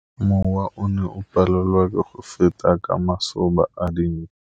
Mowa o ne o palelwa ke go feta ka masoba a dinko.